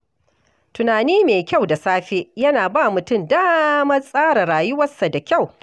Tunani mai kyau da safe yana ba mutum damar tsara rayuwarsa da kyau.